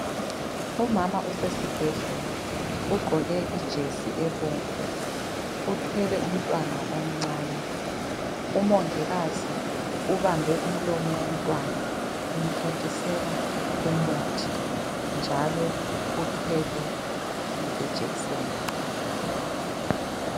Umama usesibhedlela ugqoke ijesi ebomvu, uthwele umntwana omncane. Umongikazi ubambe umlomo womntwana umthontisela umuthi njalo uthwele lejekiseni